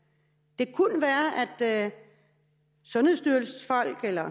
det kunne være at sundhedsstyrelsens folk eller